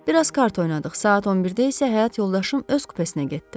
Bir az kart oynadıq, saat 11-də isə həyat yoldaşım öz kupesinə getdi.